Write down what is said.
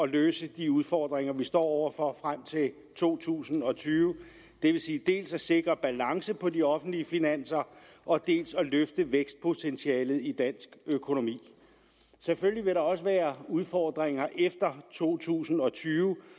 løse de udfordringer vi står over for frem til to tusind og tyve det vil sige dels at sikre balance på de offentlige finanser og dels at løfte vækstpotentialet i dansk økonomi selvfølgelig vil der også være udfordringer efter to tusind og tyve